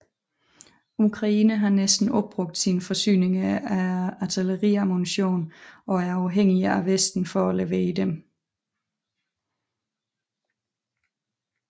Ukraine har næsten opbrugt sine forsyninger af artilleriammunition og er afhængige af Vesten for at levere dem